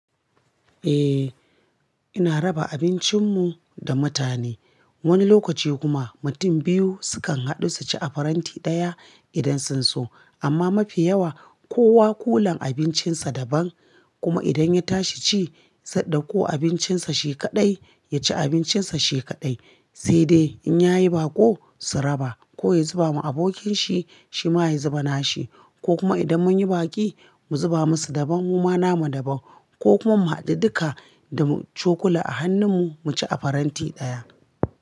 Eh, ina raba abincin mu da mutane. Wani lokaci kuma mutum biyu sukan haɗu su ci a faranti ɗaya idan sun so. Amma mafi yawa kowa kulan abincinsa daban. Kuma idan ya tashi ci, zai dakko abincinsa she kaɗai, ya ci abincinsa she kaɗai. Sai dai in yayi baƙo, su raba. Ko ya zuba ma abokin shi, shi ma ya zuba na shi. Ko kuma idan mun yi baƙi, mu zuba musu daban, mu ma nama daban. Ko kuma mu haɗu duka da cokula a hannun mu, mu ci a faranti ɗaya.